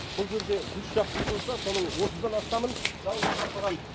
бұл жерде жүз шақты үй болса соның отыздан астамын жалын шарпыған